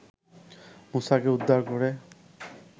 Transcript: মুসাকে উদ্ধার করে